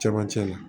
Cɛmancɛ la